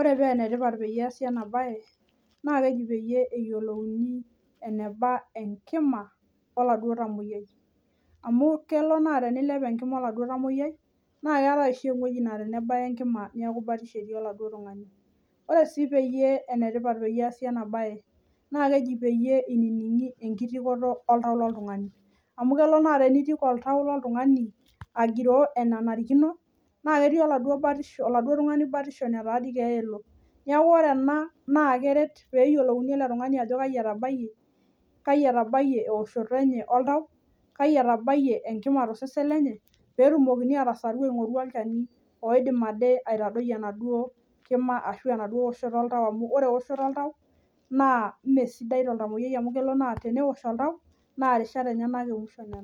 Ore paa enetipat peye eesi ena bae, naa keji peye peeyoluouni enaba enkima oladuo oltamoyai. Amu kelo naa teniilep enkima oladuo tamoyai, naa keetai oshi eweji naa tenebaya enkima naa batisho etii oladuo tung'ani, naa ore sii peye enetipat peesi ena bae, naa keji peye inining'i enkitiko oltau loltung'ani. Amu kelo naa teniitik oltau loltung'ani agiroo enanariino naa ketii oladuo batisho oladuo tung'ani batisho netaa dii keeya elo neeku ore naa keret peeyolouni ele tung'ani ajo kayi etabaiye kayi eoshoto enye oltau, aki etabaiye enkima tosesen lenye? peetumokini aatasaru aing'uraki olchani oidim ade aitadoi enaduo kima ashu eoshoto oltau amuu, ore eoshoto oltau, naa meesidai toltamoyai amuu kelo naa teosh oltau naa irishat enyana emusho nena.